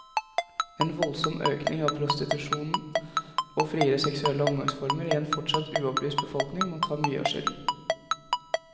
En voldsom økning av prostitusjonen og friere seksuelle omgangsformer i en fortsatt uopplyst befolkning må ta mye av skylden.